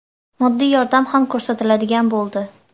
Moddiy yordam ham ko‘rsatiladigan bo‘ldi.